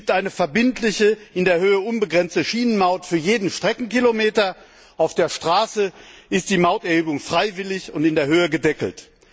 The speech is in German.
Es gibt eine verbindliche, in der Höhe unbegrenzte Schienenmaut für jeden Streckenkilometer, auf der Straße hingegen ist die Mauterhebung freiwillig und in der Höhe gedeckelt.